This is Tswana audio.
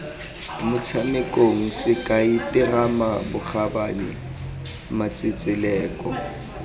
motshamekong sekai terama bokgabane matsetseleko